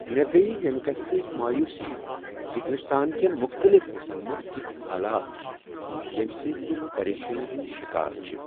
مےٚ گٔیۍ ییمِہ کتِھہ سۭتۍ مایوسی زِ ہندوستان کین مختلف حصن منز کِتھۍ حالات چھ ییمہ سۭتۍ لکھ پریشٲنی ہٕندۍ شکار چھ ۔